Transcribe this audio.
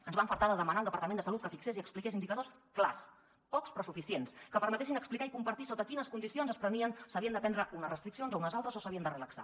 ens vam afartar de demanar al departament de salut que fixés i expliqués indicadors clars pocs però suficients que permetessin explicar i compartir sota quines condicions s’havien de prendre unes restriccions o unes altres o s’havien de relaxar